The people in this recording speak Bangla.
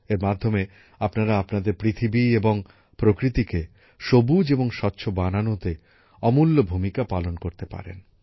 এর মাধ্যমে আপনারা আপনাদের পৃথিবী এবং প্রকৃতিকে সবুজ এবং স্বচ্ছ বানানোতে অমূল্য ভূমিকা পালন করতে পারেন